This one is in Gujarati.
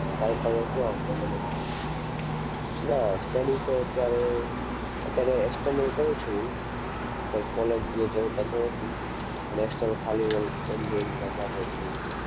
કાંઈ પણ નહોતું આવડતું મને. ના study તો અત્યારે અત્યારે external કરું છું હું. કંઈ college ને તો નથી. પણ external ખાલી on~only exam